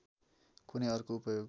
कुनै अर्को उपयोग